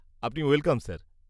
আপনি welcome, sir.